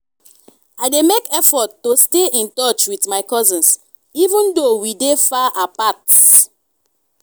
i dey make effort to stay in touch with my cousins even though we dey far apart.